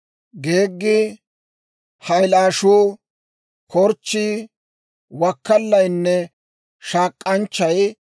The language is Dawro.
geeggi, hayllaashshuu, korchchii, wakkallaynne shaak'anchchay.